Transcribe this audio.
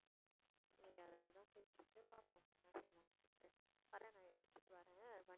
சரி அதனால தான் போயிட்டு இருக்கு பாப்போம் என்ன செய்யலாம், வர்றேன் நான் எடுத்துட்டு வர்றேன்